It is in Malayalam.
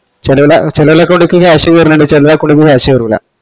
ചേലോല ചേലോല account ക്ക് cash കേരനിന്ടെ ചേലൊരെ account ക്ക് cash വേരൂല